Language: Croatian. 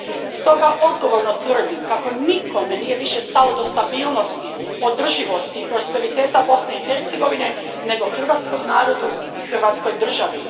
Stoga odgovorno tvrdim kako nikome nije više stalo do stabilnosti, održivosti i prosperiteta Bosne i Hercegovine nego hrvatskom narodu i hrvatskoj državi.